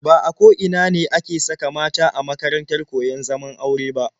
Ba a ko ina ne ake saka mata a makarantar koyon zaman aure ba.